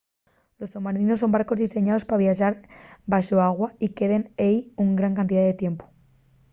los somarinos son barcos diseñaos pa viaxar baxo l’agua y queden ehí una gran cantidá de tiempu